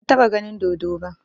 Ban taɓa ganin dodo ba